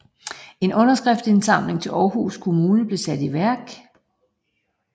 En underskriftindsamling til Aarhus kommune blev sat i værk